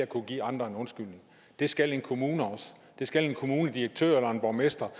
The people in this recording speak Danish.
kunne give andre en undskyldning det skal en kommune også det skal en kommunaldirektør eller en borgmester